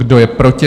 Kdo je proti?